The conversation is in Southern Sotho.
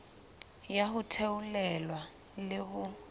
ya ho theolelwa le ho